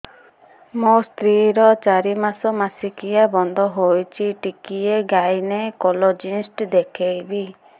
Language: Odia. ମୋ ସ୍ତ୍ରୀ ର ଚାରି ମାସ ମାସିକିଆ ବନ୍ଦ ହେଇଛି ଟିକେ ଗାଇନେକୋଲୋଜିଷ୍ଟ ଦେଖେଇବି